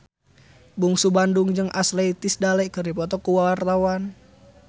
Bungsu Bandung jeung Ashley Tisdale keur dipoto ku wartawan